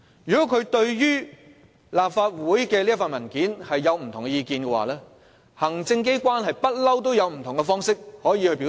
如果他對立法會這份文件有不同意見，行政機關一向都可以透過不同的方式表達。